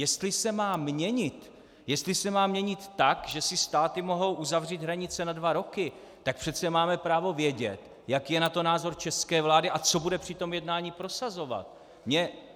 Jestli se má měnit, jestli se má měnit tak, že si státy mohou uzavřít hranice na dva roky, tak přece máme právo vědět, jaký je na to názor české vlády a co bude při tom jednání prosazovat.